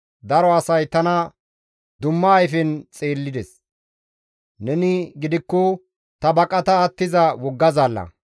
Daro asay tana dumma ayfen xeellides; neni gidikko ta baqata attiza wogga zaalla.